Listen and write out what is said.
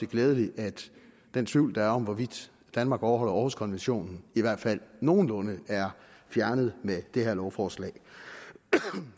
glædeligt at den tvivl der var om hvorvidt danmark overholder århuskonventionen i hvert fald nogenlunde er fjernet med det her lovforslag